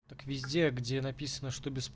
так везде где написано что бес